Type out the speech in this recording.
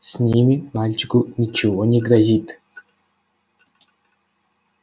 с ними мальчику ничего не грозит